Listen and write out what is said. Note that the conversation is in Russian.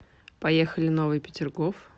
поехали новый петергоф